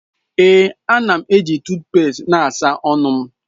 Ee, a na m eji tuut pest na-asa ọnụ m.